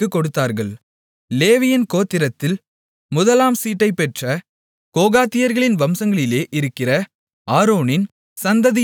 லேவியின் கோத்திரத்தில் முதலாம் சீட்டைப்பெற்ற கோகாத்தியர்களின் வம்சங்களிலே இருக்கிற ஆரோனின் சந்ததியினர்களுக்கு